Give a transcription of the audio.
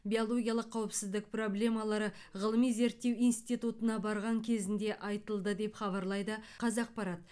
биологиялық қауіпсіздік проблемалары ғылыми зерттеу институтына барған кезінде айтылды деп хабарлайды қазақпарат